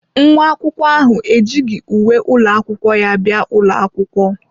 Nwa akwụkwọ ahụ ejighị uwe ụlọ akwụkwọ ya bịa ụlọ akwụkwọ.